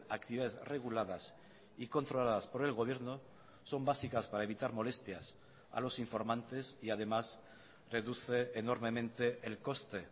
actividades reguladas y controladas por el gobierno son básicas para evitar molestias a los informantes y además reduce enormemente el coste